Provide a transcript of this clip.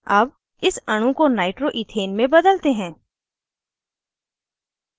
अब इस अणु को nitroइथेन में बदलते हैं